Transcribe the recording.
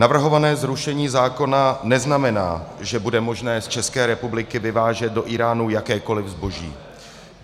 Navrhované zrušení zákona neznamená, že bude možné z České republiky vyvážet do Íránu jakékoli zboží.